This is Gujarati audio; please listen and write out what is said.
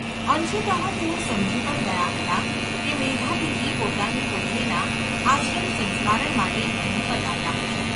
અંશત: તેઓ સમજી પણ ગયાં હતાં કે મેધાતિથિ પોતાની પુત્રીના આશ્રમસંસ્કારણ માટે જ અહીં પધાર્યા હશે.